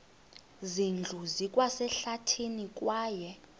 zindlu zikwasehlathini kwaye